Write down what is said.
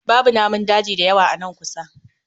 Babu namun daji da yawa a nan kusa